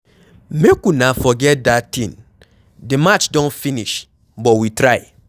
Make una forget dat thing, the match don finish but we try.